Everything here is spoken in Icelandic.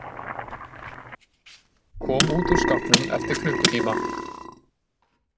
Kom út úr skápnum eftir klukkutíma